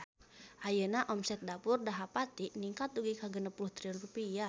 Ayeuna omset Dapur Dahapati ningkat dugi ka 60 triliun rupiah